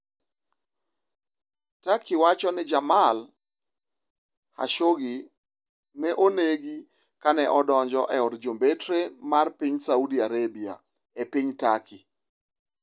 Turkey wacho ni Jamal Khashoggi ne 'onege' kane odonjo e od jombetre mar piny Saudi Arabia e piny Turkey